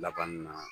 Laban na